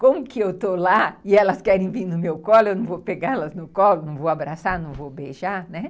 Como que eu estou lá e elas querem vir no meu colo, eu não vou pegá-las no colo, não vou abraçar, não vou beijar, né?